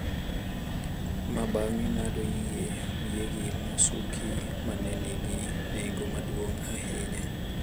ma bang’e ng’ado yie wiyegi mosuki ma ne nigi nengo maduong’ ahinya.